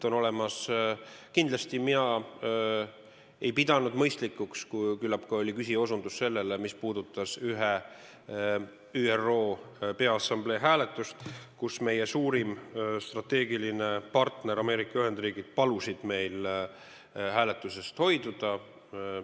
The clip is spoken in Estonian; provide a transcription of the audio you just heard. Küllap ka küsija osutas ühele ÜRO Peaassamblee hääletusele, kus meie suurim strateegiline partner Ameerika Ühendriigid palus meil hääletusest hoiduda.